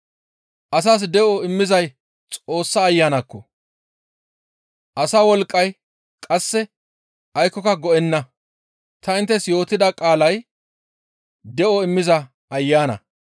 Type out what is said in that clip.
Asas de7o immizay Xoossa Ayanakko! Asa wolqqay qasse aykkoka go7enna; ta inttes yootida qaalay de7o immiza ayana.